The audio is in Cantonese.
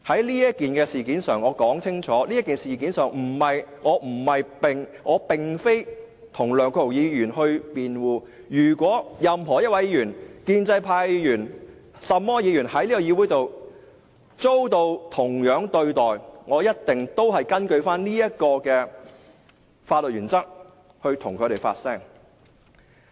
在此事件上，我要表明，我並非要為梁國雄議員辯護，如果任何一位議員，無論是建制派或其他派別議員，在這議會上遭受同樣對待，我都一定會根據這個法律原則替他們發聲。